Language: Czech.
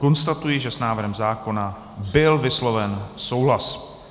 Konstatuji, že s návrhem zákona byl vysloven souhlas.